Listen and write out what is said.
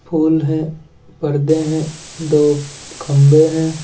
फूल है पर्दे हैं दो खंबे हैं ।